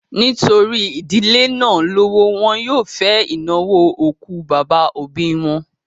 Nítorí ìdílé náà lówó, wọn yóò fẹ ìnáwó òkú bàbá òbí wọn